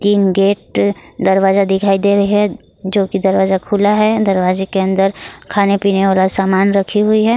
तीन गेट दरवाजा दिखाई दे रहे हैं जो की दरवाजा खुला है दरवाजे के अंदर खाने पीने वाला सामान रखी हुई है।